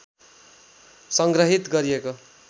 संग्रहित गरिएको